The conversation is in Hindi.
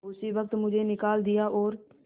उसी वक्त मुझे निकाल दिया और